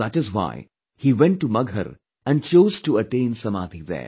That is why he went to Maghar and chose to attain Samadhi there